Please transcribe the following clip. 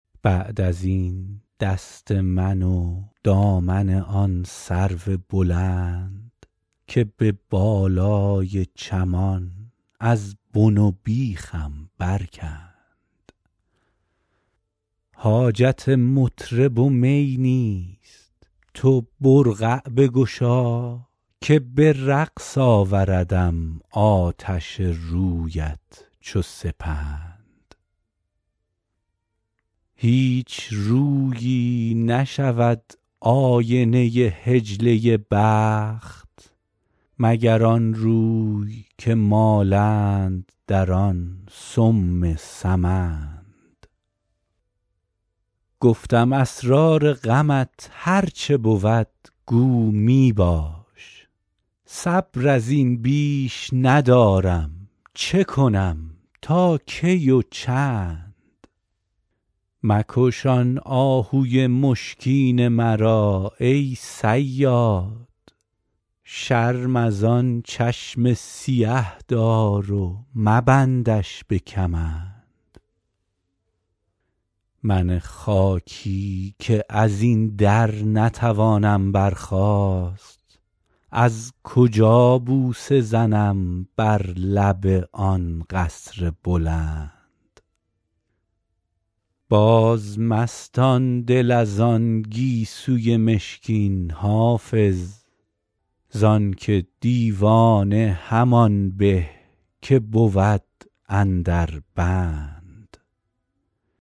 بعد از این دست من و دامن آن سرو بلند که به بالای چمان از بن و بیخم برکند حاجت مطرب و می نیست تو برقع بگشا که به رقص آوردم آتش رویت چو سپند هیچ رویی نشود آینه حجله بخت مگر آن روی که مالند در آن سم سمند گفتم اسرار غمت هر چه بود گو می باش صبر از این بیش ندارم چه کنم تا کی و چند مکش آن آهوی مشکین مرا ای صیاد شرم از آن چشم سیه دار و مبندش به کمند من خاکی که از این در نتوانم برخاست از کجا بوسه زنم بر لب آن قصر بلند بازمستان دل از آن گیسوی مشکین حافظ زان که دیوانه همان به که بود اندر بند